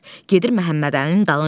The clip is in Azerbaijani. Gedir Məhəmmədəlinin dalınca.